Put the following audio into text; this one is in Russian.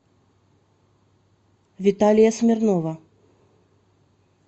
виталия смирнова